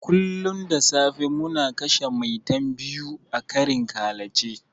Kullun da safe muna kashe 'Maitan' biyu a karin ƙalace.